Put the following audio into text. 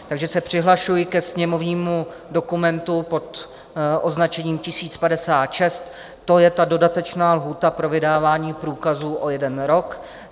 Takže se přihlašuji ke sněmovnímu dokumentu pod označením 1056, to je ta dodatečná lhůta pro vydávání průkazů o jeden rok.